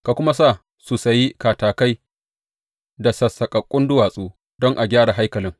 Ka kuma sa su sayi katakai da sassaƙaƙƙun duwatsu don a gyara haikalin.